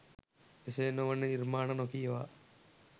එසේ නො වන නිර්මාණ නොකියවා